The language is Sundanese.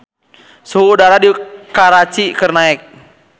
Suhu udara di Karachi keur naek